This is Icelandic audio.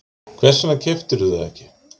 Hvers vegna keyptirðu það ekki?